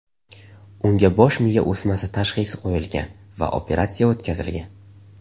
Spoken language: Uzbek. Unga bosh miya o‘smasi tashxisi qo‘yilgan va operatsiya o‘tkazilgan.